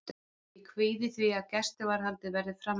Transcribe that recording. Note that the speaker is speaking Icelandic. Ég kvíði því að gæsluvarðhaldið verði framlengt.